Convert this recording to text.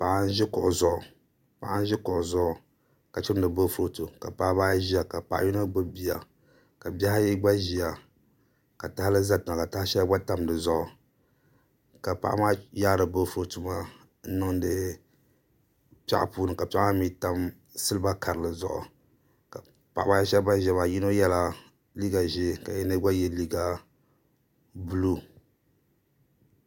Paɣa n ʒi kuɣu zuɣu ka chimdi boofurooto ka Paɣaba ayi ʒiya ka paɣa yino gbubi bia ka bihi ayi gba ʒiya ka tahali ʒɛ tiŋa ka taha shɛli gba tam di zuɣu ka paɣa maa yaari boofurooto maa n niŋdi piɛɣu puuni ka piɛɣu maa mii tam silna karili zuɣu Paɣaba ayi shab ban ʒiya maa yino yɛla liiga ʒiɛ ka yino gba yɛ liiga buluu